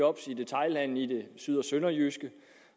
job i detailhandelen i det syd og sønderjyske